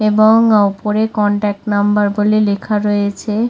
এবং ওপরে contact number বলে লেখা রয়েছে।